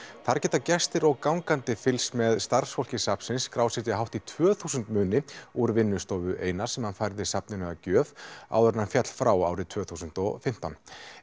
þar geta gestir og gangandi fylgst með starfsfólki safnsins skrásetja hátt í tvö þúsund muni úr vinnustofu Einars sem hann færði safninu að gjöf áður en hann féll frá árið tvö þúsund og fimmtán